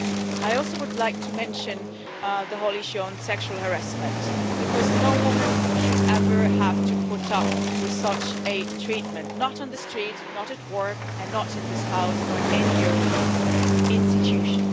I also would like to mention the whole issue of sexual harassment because no woman should ever have to put up with such treatment not on the street, not at work and not in this House or in any European institution.